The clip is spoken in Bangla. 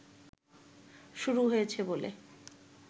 শুরু হয়েছে বলে